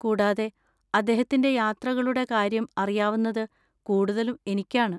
കൂടാതെ, അദ്ദേഹത്തിന്‍റെ യാത്രകളുടെ കാര്യം അറിയാവുന്നത് കൂടുതലും എനിക്കാണ്.